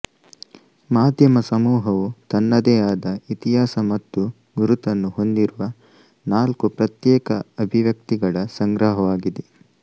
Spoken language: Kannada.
ಮಾಧ್ಯಮ ಸಮೂಹವು ತನ್ನದೇ ಆದ ಇತಿಹಾಸ ಮತ್ತು ಗುರುತನ್ನು ಹೊಂದಿರುವ ನಾಲ್ಕು ಪ್ರತ್ಯೇಕ ಅಭಿವ್ಯಕ್ತಿಗಳ ಸಂಗ್ರಹವಾಗಿದೆ